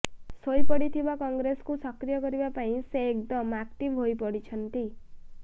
ଶୋଇପଡ଼ିଥିବା କଂଗ୍ରେସକୁ ସକ୍ରିୟ କରିବା ପାଇଁ ସେ ଏକ୍ଦମ ଆକ୍ଟିଭ ହୋଇପଡ଼ିଛନ୍ତି